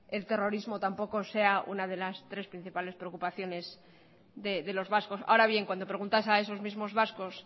el terrorismo tampoco sea una de las tres principales preocupaciones de los vascos ahora bien cuando preguntas a esos mismos vascos